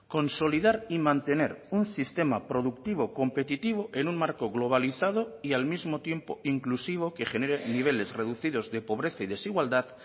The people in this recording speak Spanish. consolidar y mantener un sistema productivo competitivo en un marco globalizado y al mismo tiempo inclusivo que genere niveles reducidos de pobreza y desigualdad